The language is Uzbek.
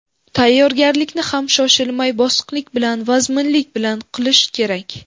Tayyorgarlikni ham shoshilmay, bosiqlik bilan, vazminlik bilan qilish kerak.